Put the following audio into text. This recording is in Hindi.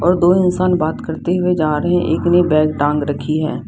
और दो इंसान बात करते हुए जा रहे है एक ने बेल्ट टांग रखी है।